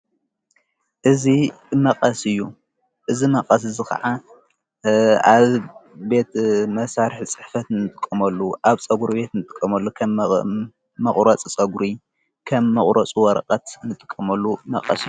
እዝ መቐስ እዩ እዝ መቐስ እዝ ኸዓ ኣብ ቤት መሣርሕ ጽሕፈት ንትቆመሉ ኣብፀጕሪ ቤት ንጥቆመሉ ኸም መቝረጽ ጸጕሪ ከም መቝረፁ ወረቐት ንትቆመሉ መቐስ